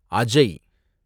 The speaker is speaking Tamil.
அஜய்